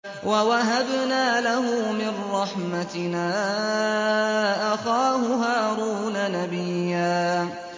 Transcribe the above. وَوَهَبْنَا لَهُ مِن رَّحْمَتِنَا أَخَاهُ هَارُونَ نَبِيًّا